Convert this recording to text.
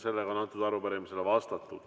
Sellele arupärimisele on vastatud.